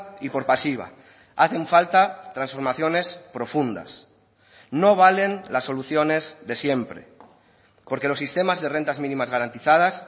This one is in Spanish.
y por pasiva hacen falta transformaciones profundas no valen las soluciones de siempre porque los sistemas de rentas mínimas garantizadas